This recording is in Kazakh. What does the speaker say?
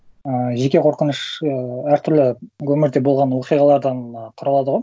ііі жеке қорқыныш і әр түрлі өмірде болған оқиғалардан а құралады ғой